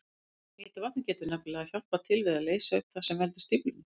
Heita vatnið getur nefnilega hjálpað til við að leysa upp það sem veldur stíflunni.